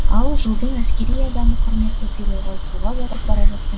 ал жылдың әскери адамы құрметті сыйлығы суға батып бара жатқан